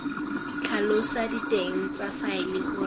tlhalosa diteng tsa faele gore